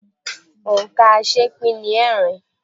Òǹkà̀ aṣeépín ni ẹẹ́rin.